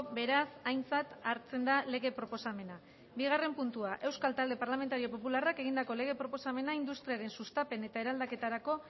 beraz aintzat hartzen da lege proposamena bigarren puntua euskal talde parlamentario popularrak egindako lege proposamena industriaren sustapen eta eraldaketarako